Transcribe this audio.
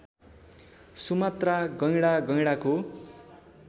Sumatra गैंडा गैंडाको